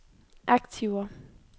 aktiver